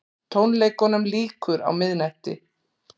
Tónleikunum lýkur á miðnætti